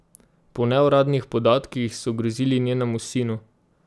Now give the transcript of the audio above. Po neuradnih podatkih so grozili njenemu sinu.